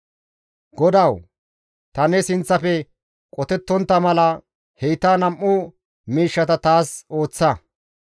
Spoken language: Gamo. «Godawu! Ta ne sinththafe qotettontta mala heyta nam7u miishshata taas ooththa.